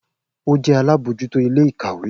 O jẹ alabojuto ile-ikawe